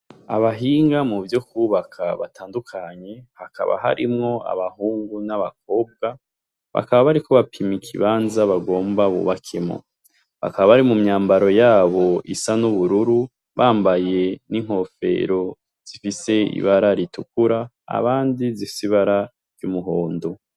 Abahinga mu vyo kubaka batandukanye hakaba harimwo abahungu n'abakobwa, bakaba bariko bapimika ibanza bagomba bubakemo bakaba bari mu myambaro yabo isa n'ubururu bambaye n'inkofero zifise ibara ritukura abandi zisibara ry'umuhoba ondo.